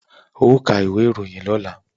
Ó ka ìwé ìròyìn lọ́la!